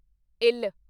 ਇੱਲ